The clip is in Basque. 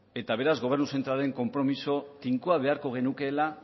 eta beraz gobernu zentralaren konpromiso tinkoa beharko genukeela